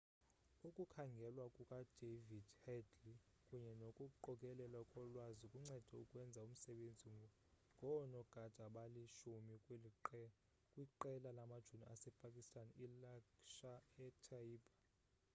ukukhangelwa kukadavid headley kunye nokuqokelelwa kolwazi kuncede ukwenza umsebenzi ngoonogada abali-10 kwiqela lamajoni asepakistan ilaskhar-e-taiba